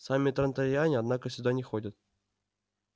сами транториане однако сюда не ходят